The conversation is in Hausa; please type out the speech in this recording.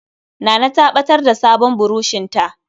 Nana ta ɓatar da sabon burushinta.